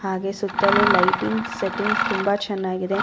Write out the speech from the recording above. ಹಾಗೆ ಸುತ್ತಲೂ lightings settings ತುಂಬಾ ಚೆನ್ನಾಗಿದೆ --